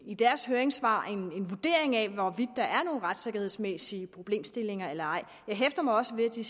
i deres høringssvar er en vurdering af hvorvidt der er nogle retssikkerhedsmæssige problemstillinger eller ej jeg hæfter mig også ved at de